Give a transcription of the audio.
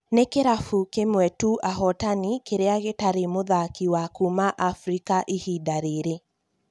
Nĩ kĩrabũ kĩmwe tũ -ahotani- kĩrĩa gĩtarĩ mũthaki wa kuma Afrika ihinda rĩrĩ